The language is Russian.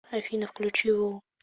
афина включи ву